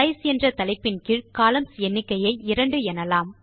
size என்ற தலைப்பின் கீழ் கொலம்ன்ஸ் எண்ணிக்கையை 2 எனலாம்